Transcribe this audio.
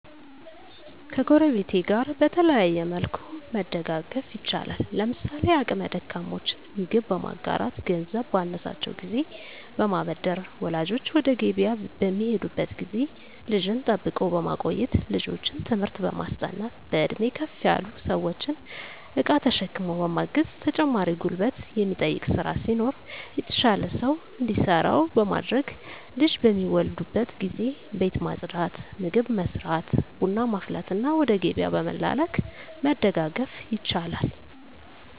ከጎረቤት ጋር በተለያየ መልኩ መደጋገፍ ይቻላል። ለምሳሌ አቅመ ደካሞችን ምግብ በማጋራት ገንዘብ ባነሳቸው ጊዜ በማበደር ወላጆች ወደ ገቢያ በሚሄዱበት ጊዜ ልጅን ጠብቆ በማቆየት ልጆችን ትምህርት በማስጠናት በእድሜ ከፍ ያሉ ሰዎችን እቃ ተሸክሞ በማገዝ ተጨማሪ ጉልበት የሚጠይቅ ስራ ሲኖር የተሻለ ሰው እንዲሰራው በማድረግ ልጅ በሚወልዱበት ጊዜ ቤት ማፅዳት ምግብ መስራት ቡና ማፍላትና ወደ ገቢያ በመላላክ መደጋገፍ ይቻላል።